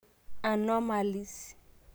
Anomalies?